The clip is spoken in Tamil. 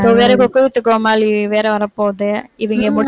இப்ப வேற குக் வித் கோமாளி வேற வரப்போகுது, இவங்க முடி~